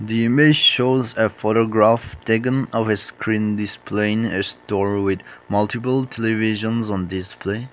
the image shows a photograph taken of a screen displaying a store with multiple televisions on display.